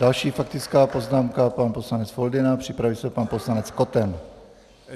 Další faktická poznámka, pan poslanec Foldyna, připraví se pan poslanec Koten.